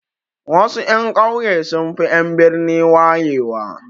Wasu 'yan ƙauye sunfi en birni wayewa